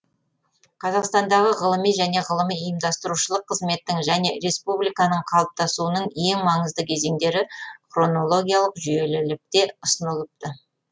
қазақстандағы ғылыми және ғылыми ұйымдастырушылық қызметтің және республиканың қалыптасуының ең маңызды кезеңдері хронологиялық жүйелілікте ұсынылыпты